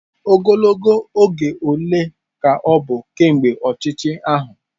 Ogologo oge ole ka ọ bụ kemgbe ọchịchị ahụ?